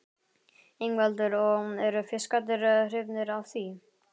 Ingveldur: Og eru fiskarnir hrifnir af því?